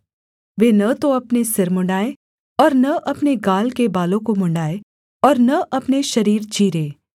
वे न तो अपने सिर मुँण्ड़ाएँ और न अपने गाल के बालों को मुँण्ड़ाएँ और न अपने शरीर चीरें